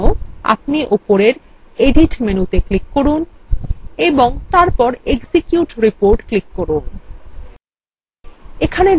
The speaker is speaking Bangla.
এর জন্য আপনি উপরের edit মেনুতে click করুন এবং তারপর execute report ক্লিক করুন